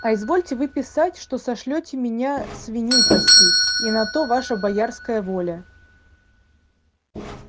а изволите вы писать что сошлёте меня свиней пасти и на то ваша боярская воля